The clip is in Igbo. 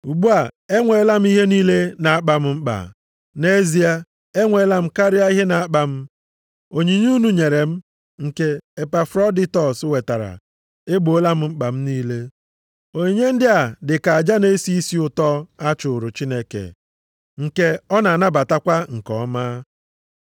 Ugbu a, enweela m ihe niile na-akpa m mkpa, nʼezie, enweela m karịa ihe na-akpa m. Onyinye unu nyere m, nke Epafroditọs wetara, egboola mkpa m niile. Onyinye ndị a dị ka aja na-esi isi ụtọ a chụụrụ Chineke, nke ọ na-anabatakwa nke ọma.